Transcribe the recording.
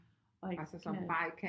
Og ikke kan